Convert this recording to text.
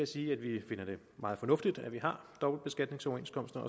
sige at vi finder det meget fornuftigt at vi har dobbeltbeskatningsoverenskomster